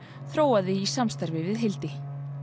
þróaði í samstarfi við Hildi